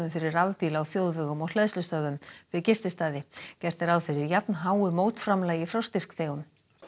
fyrir rafbíla á þjóðvegum og hleðslustöðvum við gististaði gert er ráð fyrir jafnháu mótframlagi frá styrkþegum